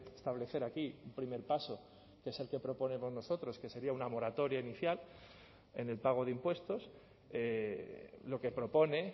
establecer aquí un primer paso que es el que proponemos nosotros que sería una moratoria inicial en el pago de impuestos lo que propone